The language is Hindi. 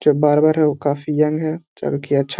जो बार्बर है वो काफ़ी यंग है जो की अच्छा --